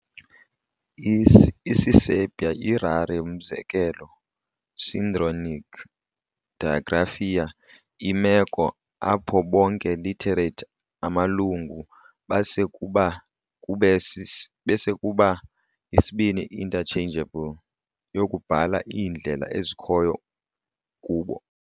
Isiserbia yi rare umzekelo synchronic digraphia, imeko apho bonke literate amalungu base kuba isibini interchangeable yokubhala iindlela ezikhoyo kubo.